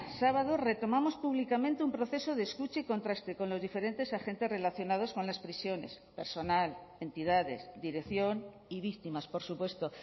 sábado retomamos públicamente un proceso de escucha y contraste con los diferentes agentes relacionados con las prisiones personal entidades dirección y víctimas por supuesto